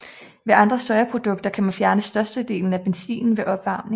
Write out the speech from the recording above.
Ved andre sojaprodukter kan man fjerne størstedelen af benzinen ved opvarmning